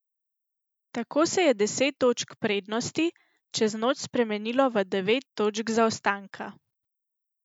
Tako se je deset točk prednosti čez noč spremenilo v devet točk zaostanka.